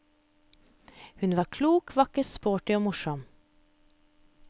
Hun var klok, vakker, sporty og morsom.